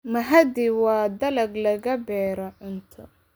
Mahadi waa dalag laga beero cunto.